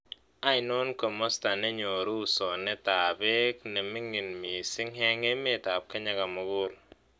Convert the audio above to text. Ainon komosta ne nyoru usoonetap peek ne ming'in misiing' eng' emetap kenya komugul